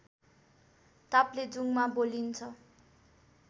ताप्लेजुङमा बोलिन्छ